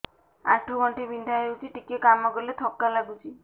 ଆଣ୍ଠୁ ଗଣ୍ଠି ବିନ୍ଧା ହେଉଛି ଟିକେ କାମ କଲେ ଥକ୍କା ଲାଗୁଚି